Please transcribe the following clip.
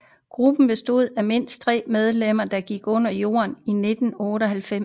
Gruppen bestod af mindst tre medlemmer der gik under jorden i 1998